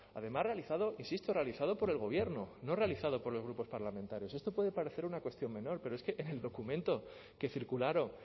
además realizado insisto realizado por el gobierno no realizado por los grupos parlamentarios esto puede parecer una cuestión menor pero es que en el documento que circularon